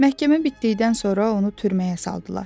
Məhkəmə bitdikdən sonra onu türməyə saldılar.